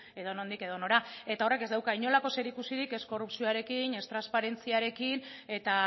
edonondik edonora eta horrek ez dauka inolako zerikusirik ez korrupzioarekin ez transparentziarekin eta